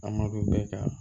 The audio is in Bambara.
An ma don bɛɛ kan